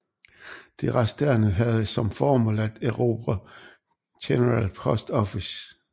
De resterende havde som formål at erobre General Post Office